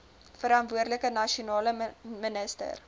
verantwoordelike nasionale minister